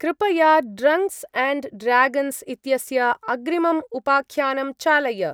कृपया ड्रन्क्स्-अण्ड्-ड्र्यागन्स् इत्यस्य अग्रिमम् उपाख्यानं चालय।